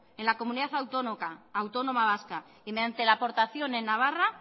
en la comunidad autónoma vasca y mediante la aportación en navarra